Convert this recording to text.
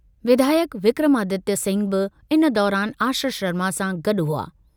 विधायकु विक्रमादित्य सिंह बि इन दौरानि आश्रय शर्मा सां गॾु हुआ।